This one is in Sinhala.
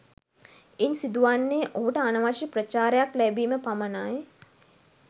ඉන් සිදු වන්නේ ඔහුට අනවශ්‍ය ප්‍රචාරයක් ලැබීම පමණයි